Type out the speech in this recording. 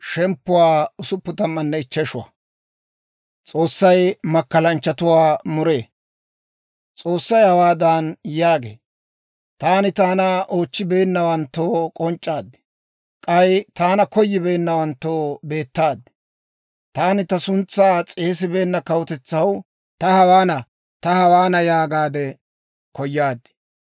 S'oossay hawaadan yaagee; «Taani taana oochchibeennawanttoo k'onc'c'aad; k'ay taana koyibeennawanttoo beettaad. Taani ta suntsaa s'eesibeenna kawutetsaw, ‹Ta hawaana! Ta hawaana!› yaagaade koyaad.